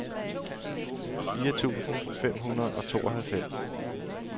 fire tusind fem hundrede og tooghalvfems